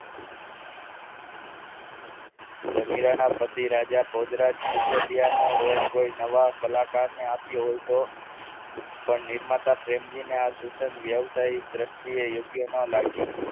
કે મીરાના પછી રાજા ભોજરાજ સિસોદિયા નો roll કોઈ નવા કલાકારને આપ્યો હોય તો પણ નિર્માતા પ્રેમજી ને આ સૂચન વ્યવસાય દ્રશ્ય યોગ્ય ન લાગે